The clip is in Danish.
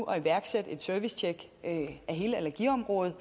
at iværksætte et servicetjek af hele allergiområdet